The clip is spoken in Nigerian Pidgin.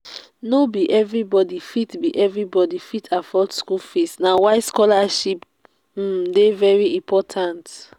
no be everybody fit be everybody fit afford school fees na why scholarship um dey very important